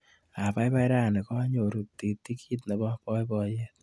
Abaibai rani kanyoru titikit nebo baibaiyet.